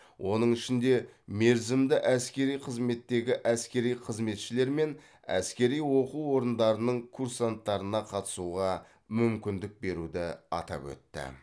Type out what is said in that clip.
оның ішінде мерзімді әскери қызметтегі әскери қызметшілер мен әскери оқу орындарының курсанттарына қатысуға мүмкіндік беруді атап өтті